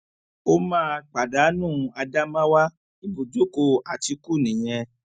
ó máa pàdánù ádámáwá ibùjókòó àtìkù nìyẹn